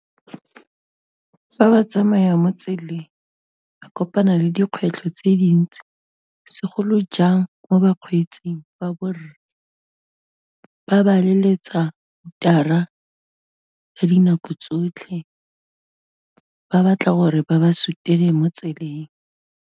Fa ba tsamaya mo tseleng, ba kopana le dikgwetlho tse dintsi, segolojang mo bakgweetsing ba borre, ba ba leletsa hooter-a ka dinako tsotlhe, ba batla gore ba ba sutele mo tseleng.